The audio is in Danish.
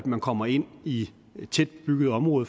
man kommer ind i tæt bebyggede områder